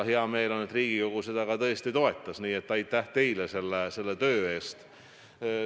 Hea meel on ka, et Riigikogu seda tõesti toetas, nii et aitäh teile selle töö eest.